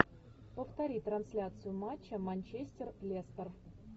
повтори трансляцию матча манчестер лестер